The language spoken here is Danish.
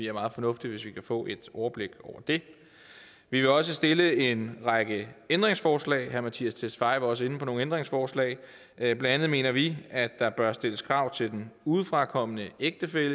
er meget fornuftigt hvis vi kan få et overblik over det vi vil også stille en række ændringsforslag herre mattias tesfaye var også inde på nogle ændringsforslag blandt andet mener vi at der bør stilles krav til den udefrakommende ægtefælle